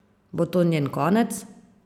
Bo to njen konec?